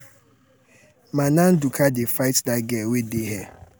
mana ndụka dey fight dat girl wey dey hair.